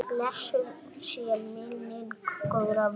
Blessuð sé minning góðra vina.